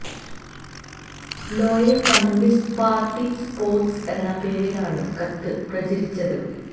ലോയല് communist party supporters എന്ന പേരിലാണ് കത്ത് പ്രചരിച്ചത്